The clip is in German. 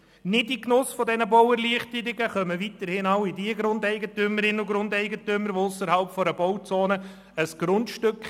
All jene Grundeigentümerinnen und -eigentümer, die ausserhalb einer Bauzone ein Grundstück besitzen, kämen weiterhin nicht in den Genuss dieser Bauerleichterungen.